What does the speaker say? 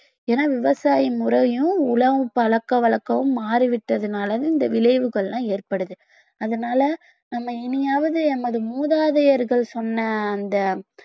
ஏன்னா விவசாய முறையும் உணவு பழக்கவழக்கமும் மாறிவிட்டதுனாலதான் இந்த விளைவுகள்லாம் ஏற்படுது அதனால நம்ம இனியாவது எமது மூதாதையர்கள் சொன்ன அந்த